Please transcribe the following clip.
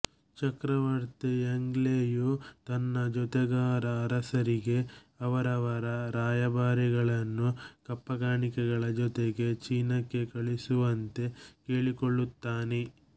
ಚಕ್ರವರ್ತಿ Yongle ಯು ತನ್ನ ಜೊತೆಗಾರ ಅರಸರಿಗೆ ಅವರವರ ರಾಯಭಾರಿಗಳನ್ನು ಕಪ್ಪಕಾಣಿಕೆಗಳ ಜೊತೆಗೆ ಚೀನಾಕ್ಕೆ ಕಳಿಸುವಂತೆ ಕೇಳಿಕೊಳ್ಳುತ್ತಾನೆ